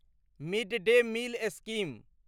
mid day meal scheme